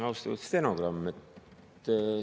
Austatud stenogramm!